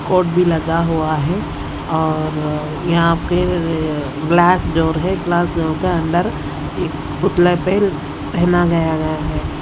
Coat भीं लगा हुवा हैं और यहाँ फिर ग्लास जोर है ग्लास जो के अंदर एक पुतले को पहनाया गया गया है।